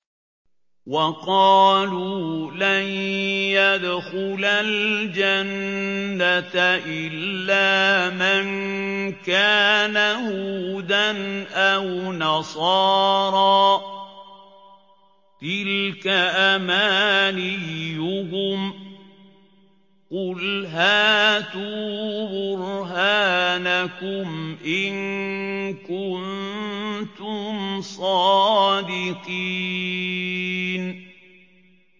وَقَالُوا لَن يَدْخُلَ الْجَنَّةَ إِلَّا مَن كَانَ هُودًا أَوْ نَصَارَىٰ ۗ تِلْكَ أَمَانِيُّهُمْ ۗ قُلْ هَاتُوا بُرْهَانَكُمْ إِن كُنتُمْ صَادِقِينَ